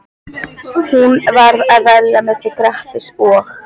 Hún varð að velja milli Grettis og